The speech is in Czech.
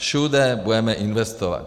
Všude budeme investovat.